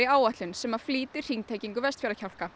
áætlun sem flýtir hringtengingu Vestfjarða